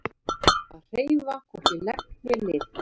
Að hreyfa hvorki legg né lið